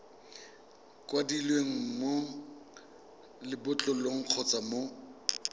kwadilweng mo lebotlolong kgotsa mo